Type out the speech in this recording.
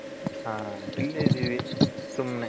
ಹ ಇಲ್ಲೇ ಇದಿವಿ ಸುಮ್ನೆ